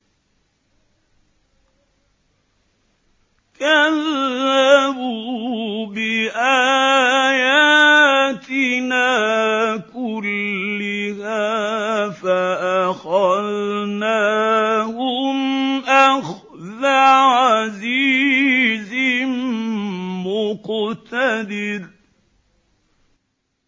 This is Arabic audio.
كَذَّبُوا بِآيَاتِنَا كُلِّهَا فَأَخَذْنَاهُمْ أَخْذَ عَزِيزٍ مُّقْتَدِرٍ